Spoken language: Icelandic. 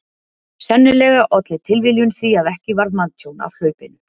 Sennilega olli tilviljun því að ekki varð manntjón af hlaupinu.